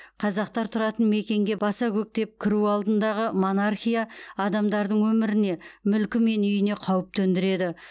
қазақтар тұратын мекенге баса көктеп кіру алдындағы монархия адамдардың өміріне мүлкі мен үйіне қауіп төндіреді